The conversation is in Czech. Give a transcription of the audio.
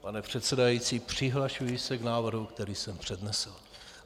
Pane předsedající, přihlašuji se k návrhu, který jsem přednesl.